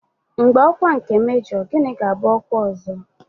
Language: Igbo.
Mgbe ọkwa nke mejọ, gịnị ga-abụ ọkwa ọzọ?